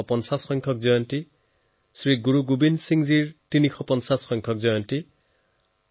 ইয়াৰ পূৰ্বে গুৰু নানক দেৱজীৰ ৫৫০সংখ্যক আৱিৰ্ভাৱ তিথি শ্ৰী গুৰু গোৱিন্দ সিং জীৰ ৩৫০সংখ্যক আৱিৰ্ভাৱ পৰ্ব আছিল